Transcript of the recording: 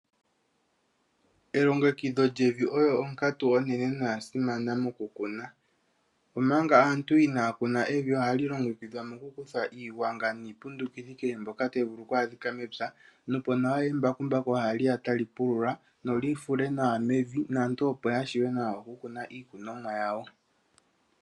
Elongekidho oyo onkatu onene noyasimana mokukuna .Omanga aantu inaya kuna evi olyo halilongekidhwa mokukutha iigwanga niipundukithi kehe mbyoka tayi vulu oku adhika mepya nopo nee embakumbaku haliya tali pulula lifule nawa mevi naantu opo yavule nawa okukuna iikunomwa yawo.